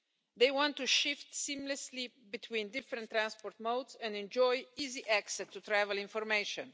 They want to shift seamlessly between different transport modes and enjoy easy access to travel information.